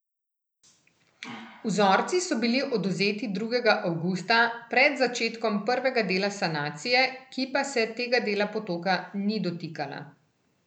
Vzorci so bili odvzeti drugega avgusta, pred začetkom prvega dela sanacije, ki pa se tega dela potoka ni dotikala.